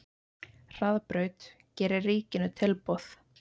Hraðbraut gerir ríkinu tilboð